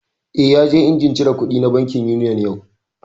Eh, ya je injin cire kuɗi na bankin Union yau